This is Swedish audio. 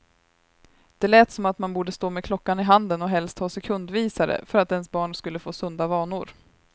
Det lät som om man borde stå med klockan i handen och helst ha sekundvisare, för att ens barn skulle få sunda vanor.